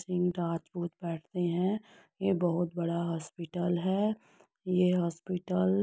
राजपूत बैठते है। ये बहुत बड़ा हॉस्पिटल है। ये हॉस्पिटल --